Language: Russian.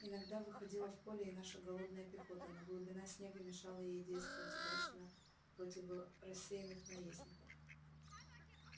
иногда выходила в поле и наша голодная пехота но глубина снега мешала ей действовать удачно противо рассеянных наездников